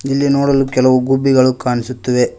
ಇಲ್ಲಿ ನೋಡಲು ಕೆಲವು ಗುಬ್ಬಿಗಳು ಕಾಣಿಸುತ್ತಿವೆ.